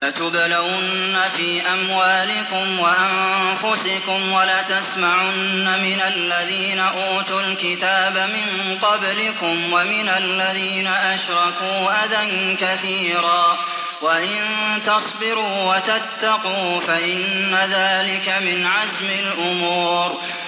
۞ لَتُبْلَوُنَّ فِي أَمْوَالِكُمْ وَأَنفُسِكُمْ وَلَتَسْمَعُنَّ مِنَ الَّذِينَ أُوتُوا الْكِتَابَ مِن قَبْلِكُمْ وَمِنَ الَّذِينَ أَشْرَكُوا أَذًى كَثِيرًا ۚ وَإِن تَصْبِرُوا وَتَتَّقُوا فَإِنَّ ذَٰلِكَ مِنْ عَزْمِ الْأُمُورِ